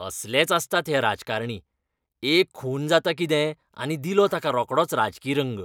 असलेच आसतात हे राजकारणी. एक खून जाता कितें आनी दिलो ताका रोकडोच राजकी रंग!